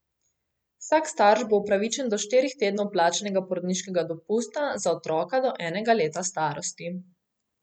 Vsak starš bo upravičen do štirih tednov plačanega porodniškega dopusta za otroka do enega leta starosti.